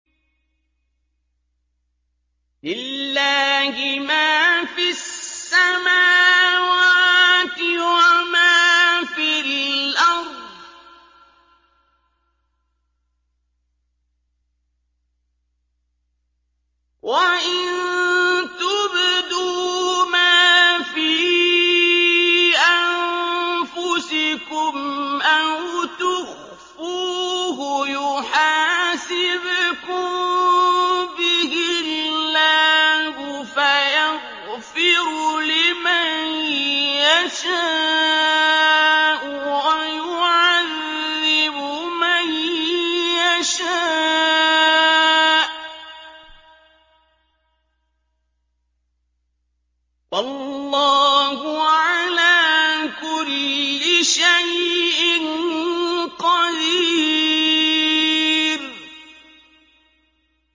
لِّلَّهِ مَا فِي السَّمَاوَاتِ وَمَا فِي الْأَرْضِ ۗ وَإِن تُبْدُوا مَا فِي أَنفُسِكُمْ أَوْ تُخْفُوهُ يُحَاسِبْكُم بِهِ اللَّهُ ۖ فَيَغْفِرُ لِمَن يَشَاءُ وَيُعَذِّبُ مَن يَشَاءُ ۗ وَاللَّهُ عَلَىٰ كُلِّ شَيْءٍ قَدِيرٌ